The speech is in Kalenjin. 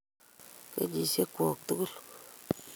Kenyisiekyok tugul.